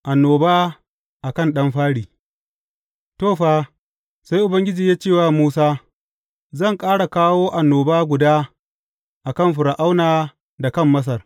Annoba a kan ɗan fari To, fa, sai Ubangiji ya ce wa Musa, Zan ƙara kawo annoba guda a kan Fir’auna da kan Masar.